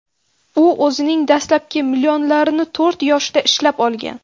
U o‘zining dastlabki millionlarini to‘rt yoshida ishlab olgan.